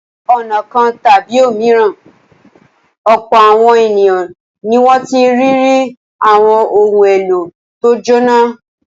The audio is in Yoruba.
Ní ọ̀nà kan tàbí òmíràn, ọ̀pọ̀ àwọn ènìyàn ni wọ́n ti ní ìrírí àwọn ohun-èlò tó jóná.